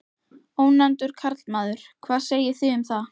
Ónefndur karlmaður: Hvað segið þið um það?